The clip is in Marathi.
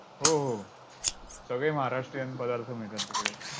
हो हो, सगळे महाराष्ट्रीयन पदार्थ मिळतात तिकडे.